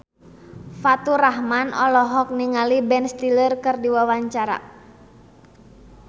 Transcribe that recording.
Faturrahman olohok ningali Ben Stiller keur diwawancara